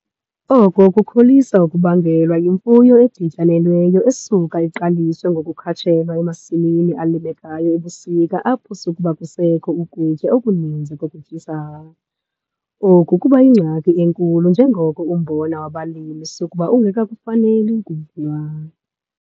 Oko kukholisa ukubangelwa yimfuyo edityanelweyo esuka iqaliswe ngokukhatshelwa emasimini alimekayo ebusika apho sukuba kusekho ukutya okuninzi kokutyisa. Oku kuba yingxaki enkulu njengoko umbona wabalimi sukuba ungekakufaneli ukuvunwa.